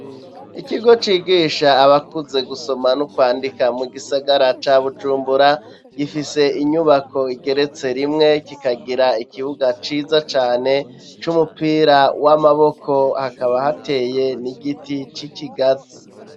Ikigo cigisha abakuze gusoma no kwandika mu gisagara ca Bujumbura gifise inyubako igeretse rimwe kikagira ikibuga ciza cane c'umupira w'amaboko hakaba hateye n'igiti c'ikigazi